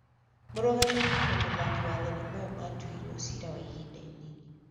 Mũrũgamĩrĩri na mũthaki wa thenema ĩyo maatuĩirũo ciira wa ihinda inini.